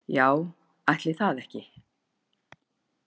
Já, ætli það ekki